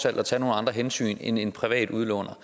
at tage nogle andre hensyn end en privat udlåner